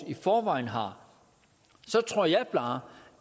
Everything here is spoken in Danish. i forvejen har så tror jeg bare